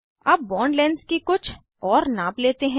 अब bond lengths की कुछ और नाप लेते हैं